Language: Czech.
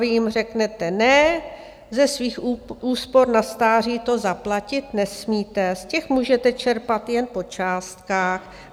Vy jim řeknete ne, ze svých úspor na stáří to zaplatit nesmíte, z těch můžete čerpat jen po částkách.